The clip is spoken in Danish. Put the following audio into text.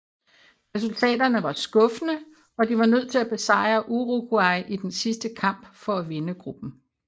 Resultaterne var skuffende og de var nødt til at besejre Uruguay i den sidste kamp for at vinde gruppen